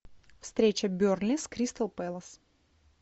встреча бернли с кристал пэлас